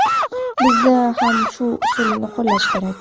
Bizda ham shu usulni qo‘llash kerak.